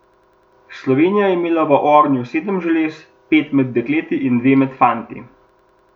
Slovenija je imela v ognju sedem želez, pet med dekleti in dve med fanti.